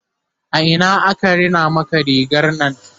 a Ina aka Rina Maka rigarnan?